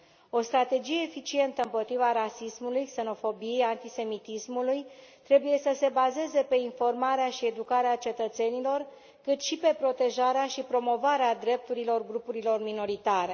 O strategie eficientă împotriva rasismului, xenofobiei, antisemitismului trebuie să se bazeze pe informarea și educarea cetățenilor, cât și pe protejarea și promovarea drepturilor grupurilor minoritare.